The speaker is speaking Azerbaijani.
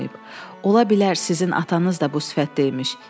Ola bilər sizin atanız da bu sifətdə imiş.